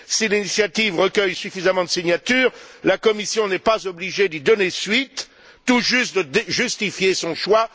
Si l'initiative recueille suffisamment de signatures, la Commission n'est pas obligée d'y donner suite, tout juste de justifier son choix.